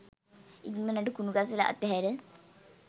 ඉක්මණට කුණු කසල අතහැර